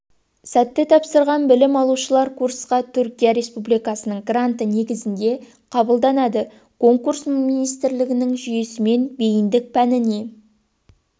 сәтті тапсырған білім алушылар курсқа түркия республикасының гранты негізінде қабылданады конкурс министрліктің жүйесімен бейіндік пәніне